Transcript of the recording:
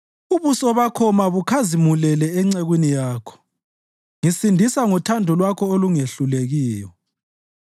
Ubuso Bakho mabukhazimulele encekwini Yakho; ngisindisa ngothando Lwakho olungehlulekiyo.